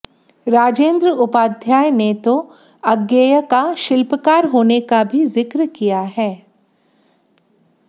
राजेन्द्र उपाध्याय ने तो अज्ञेय का शिल्पकार होने का भी जिक्र किया है